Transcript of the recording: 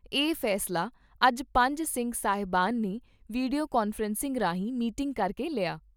ਇਹ ਫੈਸਲਾ ਅੱਜ ਪੰਜ ਸਿੰਘ ਸਾਹਿਬਾਨ ਨੇ ਵੀਡੀਓ ਕਾਨਫਰੰਸਿੰਗ ਰਾਹੀਂ ਮੀਟਿੰਗ ਕਰਕੇ ਲਿਆ।